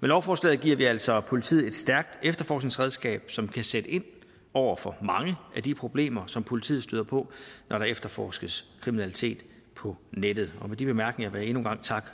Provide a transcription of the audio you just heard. med lovforslaget giver vi altså politiet et stærkt efterforskningsredskab som kan sætte ind over for mange af de problemer som politiet støder på når der efterforskes kriminalitet på nettet med de bemærkninger vil jeg endnu en gang takke